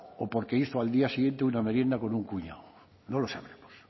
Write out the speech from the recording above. o porque hizo al día siguiente una merienda con un cuñado no lo sabremos